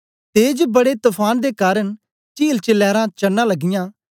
तेज बड़े तफान दे कारन चील च लैरां चडना लगयां